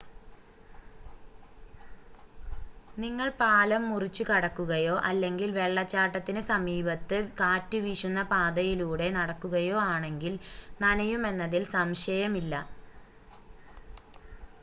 നിങ്ങൾ പാലം മുറിച്ച് കടക്കുകയോ അല്ലെങ്കിൽ വെള്ളച്ചാട്ടത്തിന് സമീപത്ത് കാറ്റുവീശുന്ന പാതയിലൂടെ നടക്കുകയോ ആണെങ്കിൽ നനയുമെന്നതിൽ സംശയമില്ല